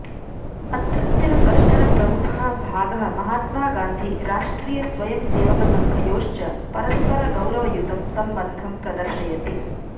अत्रत्यः कश्चन प्रमुखः भागः महात्मागान्धि राष्ट्रियस्वयंसेवकसङ्घयोश्च परस्परगौरवयुतं सम्बन्धं प्रदर्शयति